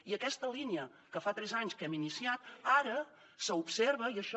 i aquesta línia que fa tres anys que hem iniciat ara s’observa i això